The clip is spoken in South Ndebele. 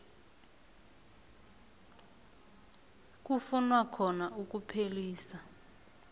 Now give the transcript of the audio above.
kufunwa khona ukuphelisa